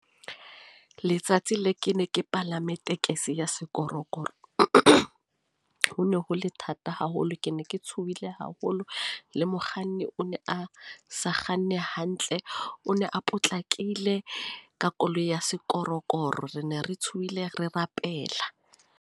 Letsatsi le ke ne ke palame tekesi ya sekorokoro. Ho ne ho le thata haholo. Ke ne ke tshohile haholo, le mokganni o ne a sa kganne hantle. O ne a potlakile, ka koloi ya sekorokoro. Re ne re tshohile, re rapela.